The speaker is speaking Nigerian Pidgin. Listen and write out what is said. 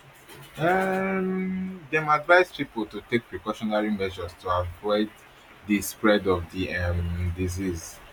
um dem advise pipo to take precautionary measures to prevent di spread of di um disease